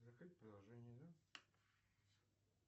закрыть приложение